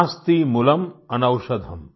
नास्ति मूलम् अनौषधम्